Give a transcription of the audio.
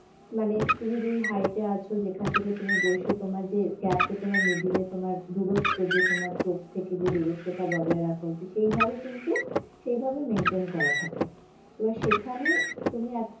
মানে তুমি যে height এ আছো যেখান থেকে তুমি বসে তোমার যে গ্যাপ এ তোমার middle এ তোমার দূরত্ব যে তোমার চোখ থেকে দূরত্ব তা বজায় রাখা উচিত সেইভাবে কিন্তু সেইভাবে maintain করা থাকে এইবার সেখানে তুমি